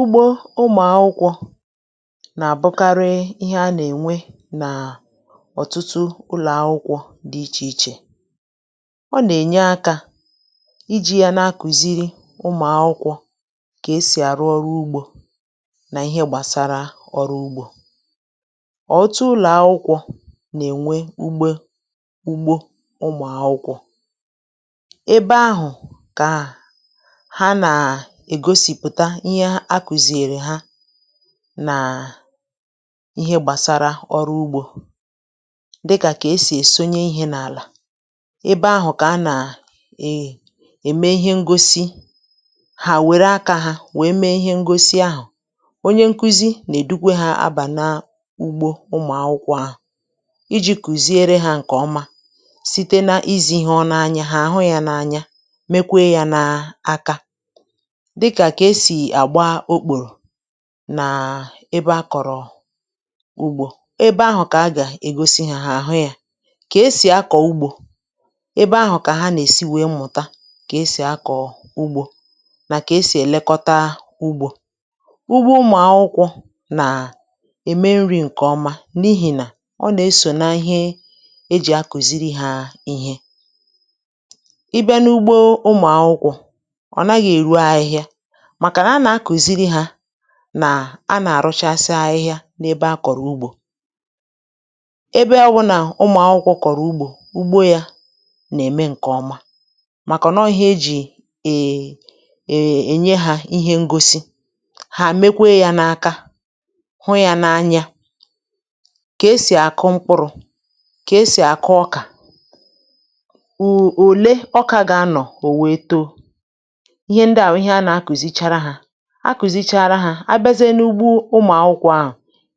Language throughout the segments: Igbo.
Ugbo ụmụ̀akwụkwọ̇ nà-àbụkarị ihe a nà-ènwe nà ọ̀tụtụ ụlọ̀akwụkwọ̇ dị̇ ichè ichè. ọ nà-ènye akȧ iji̇ ya na-akùziri ụmụ̀akwụkwọ̇ kà esì àrụ ọrụ ugbȯ nà ihe gbàsara ọrụ ugbȯ. ọ̀tụtu ụlọ̀akwụkwọ̇ nà-ènwe ugbe ụgbȯ ụmụ̀akwụkwọ̇. Ebè ahụ kà ha na-egosìpụ̀ta ihe a kùzìrì ha, nà ihe gbàsara ọrụ ugbȯ. Dịkà kà esì èsonye ihė n’àlà. Ebe ahụ̀ kà a nà à è ème ihe ngosi, hà wère akȧ hȧ wèe mee ihe ngosi ahụ̀. Onyė nkuzi nà èdukwe hȧ abà na ugbȯ ụmụ̀ akwụkwọ ahụ̀, iji̇ kùziere hȧ ǹkè ọma site n’izì ihe ọ n’anya, hà àhụ yȧ n’anya mekwe yȧ n’aka, dịkà kà esì àgba okpòrò nàà ebe akọ̀rọ̀ ugbȯ. Ebe ahụ̀ kà a gà-ègosi hȧ àhụ ya, kà esì akọ̀ ugbȯ. Ebe ahụ̀ kà ha nà-èsi wèe mụ̀ta kà esì akọ̀ ugbȯ nà kà esì èlekọta ugbȯ. Ugbò ụmụ̀ akwụkwọ nà ème nri̇ ǹkè ọma, n’ihì nà ọ nà-esò na ihe e jì akùziri hȧ ihe. ị bịa n’ugbo ụmụ̀ akwụkwọ, ọ naghi èru ahihia màkà na anà-akùziri hȧ nà, a nà-àrụchasị ahịhịȧ n’ebe a kọ̀rọ̀ ugbȯ. Ebe ọwụ̀nà ụmụ̀ akwụkwọ kọ̀rọ̀ ugbȯ, ugbȯ yȧ nà-ème ǹkè ọma màkà nà ọọ̇ ihe ejì è è nye hȧ ihe ngosi, hà mekwe yȧ n’aka, hụ yȧ n’anya. Kà esì àkụ mkpụrụ̇, kà esì àkụ ọkà, ò oole ọkà gà-anọ̀ ò wèe too. Ihė ǹdi a bụ ìhe ànà-akùzichara ha. Akùzichara ha, abịazie n'ugbȯ ụmụ akwụkwọ ahụ,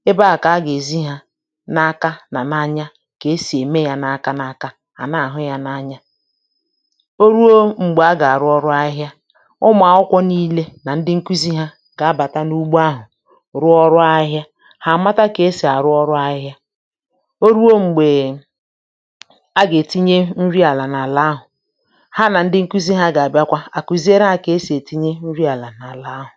ebe ahụ kà-aga ezi ha, n'aka na n'anya. Kà-esi e mee yà ̇nà aka na aka, ana ahụ ya n'anya. Oruo mgbè aga arụ ọrụ ahihia, ụmụ akwụkwọ niile na ǹdi nkuzi ha, gà abata n'ụgbo ahụ, ruo ọrụ ahihia. Ha àmàta kà-esi arụ ọrụ ahihia. Oruo mgbè, aga etinye nri àla n'àla ahụ, ha na ǹdi nkuzi ha gà abịakwa, ha akùzichara ha kà-esi etinye nri àla n'àla ahụ.